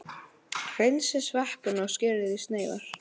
Hreinsið sveppina og skerið í sneiðar.